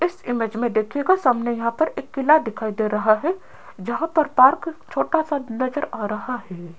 इस इमेज में देखिएगा सामने यहां पर एक किला दिखाई दे रहा है जहां पर पार्क छोटा सा नजर आ रहा है।